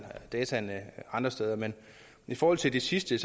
dataene andre steder men i forhold til det sidste